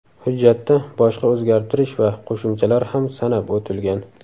Hujjatda boshqa o‘zgartirish va qo‘shimchalar ham sanab o‘tilgan.